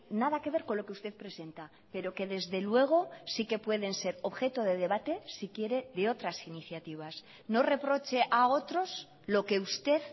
nada que ver con lo que usted presenta pero que desde luego sí que pueden ser objeto de debate si quiere de otras iniciativas no reproche a otros lo que usted